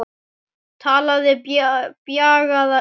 Talaði bjagaða ensku